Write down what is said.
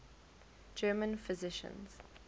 german physicians